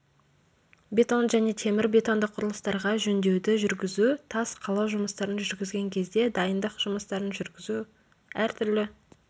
бетон және темір-бетонды құрылыстарға жөндеуді жүргізу тас қалау жұмыстарын жүргізген кезде дайындық жұмыстарын жүргізу әртүрлі